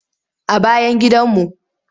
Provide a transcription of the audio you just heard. A bayan gidanmu.